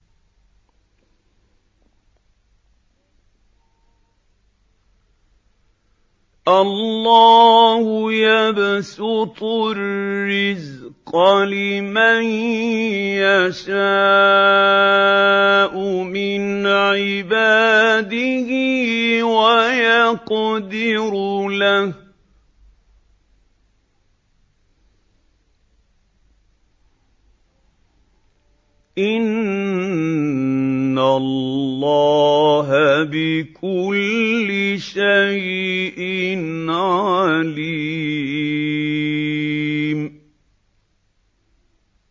اللَّهُ يَبْسُطُ الرِّزْقَ لِمَن يَشَاءُ مِنْ عِبَادِهِ وَيَقْدِرُ لَهُ ۚ إِنَّ اللَّهَ بِكُلِّ شَيْءٍ عَلِيمٌ